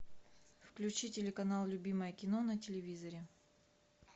включи телеканал любимое кино на телевизоре